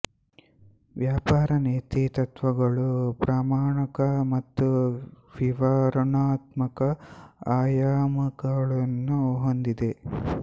ವ್ಯಾಪಾರ ನೀತಿ ತತ್ವಗಳು ಪ್ರಮಾಣಕ ಮತ್ತು ವಿವರಣಾತ್ಮಕ ಆಯಾಮಗಳನ್ನು ಹೊಂದಿದೆ